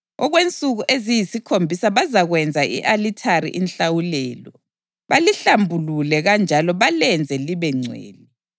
Okwensuku eziyisikhombisa bazakwenzela i-alithari inhlawulelo, balihlambulule, kanjalo balenze libengcwele.